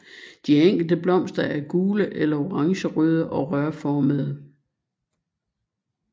De enkelte blomster er gule eller orangerøde og rørformede